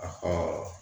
A